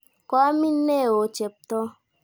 Koamin ne oo Cheptoo?